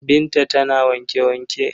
Binta tana wanke-wanke.